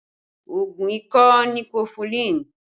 Oògùn ikọ́ ni kọfulin